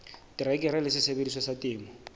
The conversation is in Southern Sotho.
terekere le sesebediswa sa temo